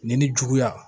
Nin ni juguya